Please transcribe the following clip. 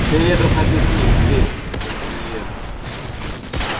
все едут на пикник все кроме нее